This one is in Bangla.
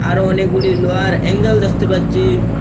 আরো অনেকগুলি লোহার অ্যাঙ্গেল দেখতে পাচ্ছি।